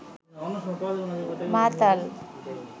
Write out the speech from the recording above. মাতাল